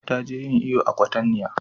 Ta je yin iyo a kwatanniya